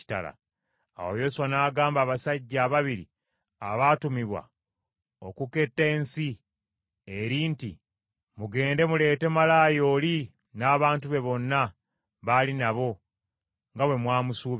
Awo Yoswa n’agamba abasajja ababiri abaatumibwa okuketta ensi eri nti, “Mugende muleete malaaya oli n’abantu be bonna baali nabo nga bwe mwamusuubiza.”